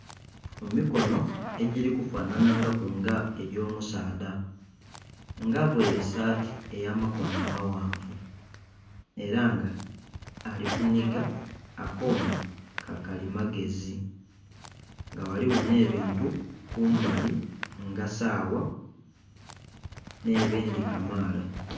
Emikono egirikufanhanha ku nga gy'omusaadha nga avaire esaati eyamakono maghanvu era nga alikuniga akoma kakalimagezi nga ghaligho n'ebintu kumbali nga sawa n'ebindhi kamaala.